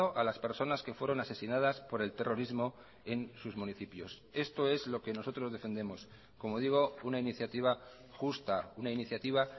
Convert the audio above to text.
a las personas que fueron asesinadas por el terrorismo en sus municipios esto es lo que nosotros defendemos como digo una iniciativa justa una iniciativa